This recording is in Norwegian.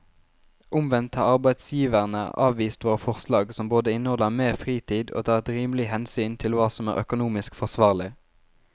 Omvendt har arbeidsgiverne avvist våre forslag som både inneholder mer fritid og tar et rimelig hensyn til hva som er økonomisk forsvarlig.